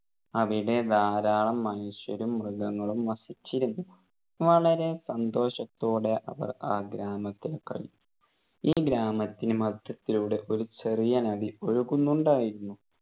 അവിടെ ധാരാളം മനുഷ്യരും മൃഗങ്ങളും വസിച്ചിരുന്നു വളരെ സന്തോഷത്തോടെ അവർ ആ ഗ്രാമത്തിൽ കഴിഞ്ഞു. ഈ ഗ്രാമത്തിന് മധ്യത്തിലൂടെ ഒരു ചെറിയ നദി ഒഴുകുന്നുണ്ടായിരുന്നു